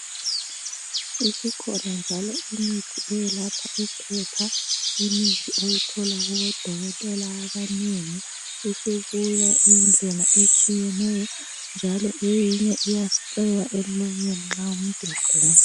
Isikhona njalo imithi eyelapha uphepha. Imithi oyithola kubodokotela abanengi isibuya iyindlela etshiyeneyo njalo eyinye iyasipreywa emlonyeni nxa umuntu egula.